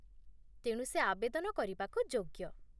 ତେଣୁ ସେ ଆବେଦନ କରିବାକୁ ଯୋଗ୍ୟ